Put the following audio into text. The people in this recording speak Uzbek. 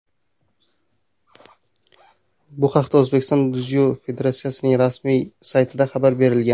Bu haqda O‘zbekiston dzyudo federatsiyasining rasmiy saytida xabar berilgan .